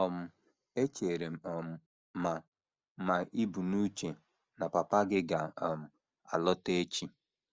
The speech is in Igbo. um Echere m um ma ma ì bu n’uche na papa gị ga - um alọta echi. ”